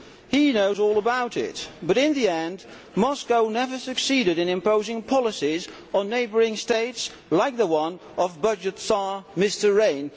He knows all about it, but in the end Moscow never succeeded in imposing policies on neighbouring states like the one of budget tsar Mr Rehn.